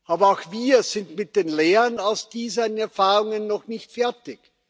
Aber auch wir sind mit den Lehren aus diesen Erfahrungen noch nicht fertig.